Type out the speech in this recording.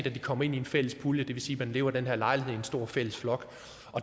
at de kommer ind i en fælles pulje det vil sige at man lever i den her lejlighed i en stor fælles flok